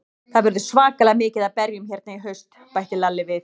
Það verður svakalega mikið af berjum hérna í haust, bætti Lalli við.